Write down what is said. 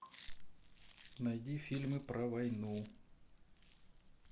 найди фильмы про войну